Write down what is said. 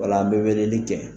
Wala an bɛ weleli kɛ.